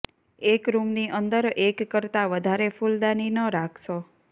એક રૂમની અંદર એક કરતાં વધારે ફુલદાની ન રાખશો